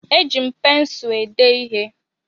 E ji m pensụ èdé ihé